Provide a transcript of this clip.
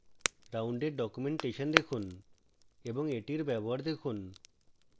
round এর documentation দেখুন এবং এটির ব্যবহার দেখুন